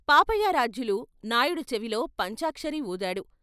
పాపయారాధ్యులు నాయుడు చెవిలో, పంచాక్షరి వూదాడు.